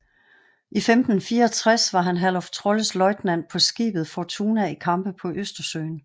I 1564 var han Herluf Trolles løjtnant på skibet Fortuna i kampe på Østersøen